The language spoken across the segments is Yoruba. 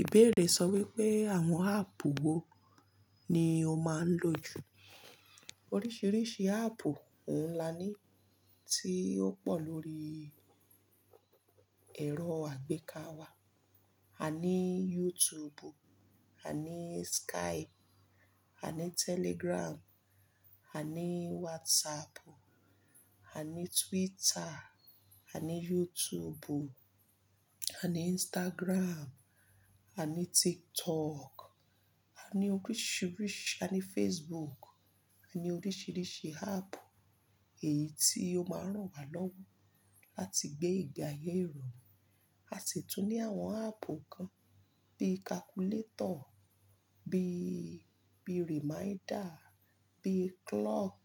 Ìbéèrè sọ wípé àwọn áàpù wo ni o máa ń lò jù? Oríṣiríṣi áàpù ohun lá ni tí ó pọ̀ lórí ẹ̀rọ àgbéká wa. A ní YouTube, a ní Skype, a ní Telegram, a ní WhatsApp, a ní Twitter, a ní YouTube, a ní Instagram, a ní TikTok, a ní oríṣiríṣi, a ní Facebook, a ní oríṣiríṣi áàpù èyí tí ó máa ń ràn wá lọ́wọ́ láti gbé ìgbé ayé rọrùn. A sì tún ní àwọn áàpù kan bí i calculator, bí i, bí i reminder, bí i clock,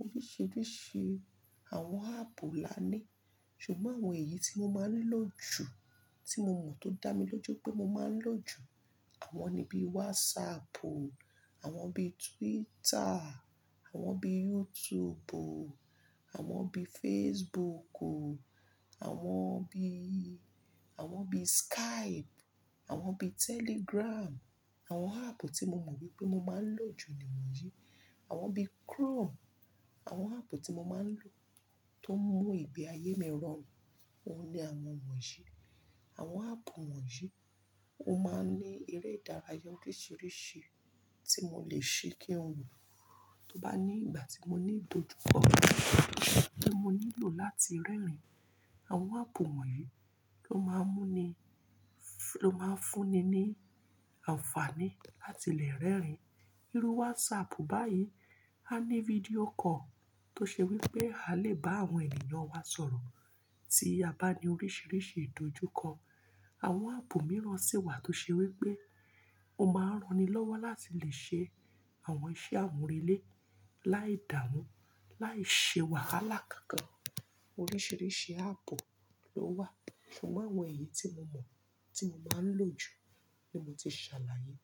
oríṣiríṣi àwọn áàpù lá ni. Ṣùgbọ́n àwọn èyí tí mo máa ń lò jù, tí mo mọ̀ tó dá mi lójú pé mo máa ń lò jù, àwọn ni bí i WhatsApp, àwọn bí i Twitter, àwọn bí i YouTube, àwọn bí i Facebook, àwọn bí i, àwọn bí i Skype, àwọn bí i Telegram. Àwọn áàpù tí mo mọ̀ wípé mo máa ń lò jù ni wọ̀nyí. Àwọn bí i Chrome. Àwọn áàpù tí mo máa ń lò tó ń mú ìgbé ayé mi rọrùn, òun ni àwọn wọ̀nyí. Àwọn áàpù wọ̀nyí ó máa ń ní eré ìdárayá oríṣiríṣi tí mo lè ṣi kí n wò. Tóbá ní ìgbà tí mo ní ìdojúkọ tí mo nílò láti rẹ́rìn-ín, àwọn áàpù wọ̀nyí ló máa ń mú ni, ló máa ń fún ni ní àǹfààní láti lè rẹ́rìn-ín. Irú WhatsApp báyìí, a ní fídíò call tó ṣe wípé a lè bá àwọn ènìyàn wa sọ̀rọ̀ tí a bá ní oríṣiríṣi ìdojúkọ. Àwọn áàpù mìíràn sì wà tó ṣe wípé o máa ń rani lọ́wọ́ láti lè ṣe àwọn iṣẹ́ amurelè, láì dàmù, láì ṣe wàhálà kankan. Oríṣiríṣi áàpù ló wà, ṣùgbọ́n àwọn èyí tí mo mọ̀ tí mo máa ń lò jù ni mo ti ṣàlàyé.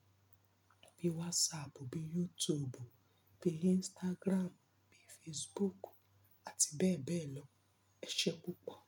Bí i WhatsApp, bí i YouTube, bí i Instagram, bí i Facebook àti bẹ́ẹ̀ bẹ́ẹ̀ lọ. Ẹ ṣé púpọ̀.